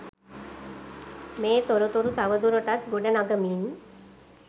මේ තොරතුරු තවදුරටත් ගොඩ නගමින්.